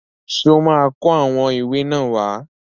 Ṣó máa kó àwọn ìwé náà wá?